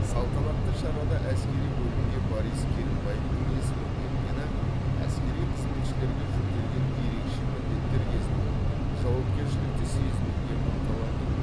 салтанатты шарада әскери бөлімге борис керімбаевтің есімі берілгені әскери қызметшілерге жүктелген ерекше міндеттер кезінде жауапкершілікті сезінуге ынталандыру